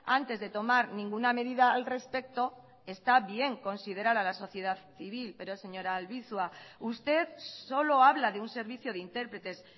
antes de tomar ninguna medida al respecto está bien considerar a la sociedad civil pero señora albizua usted solo habla de un servicio de intérpretes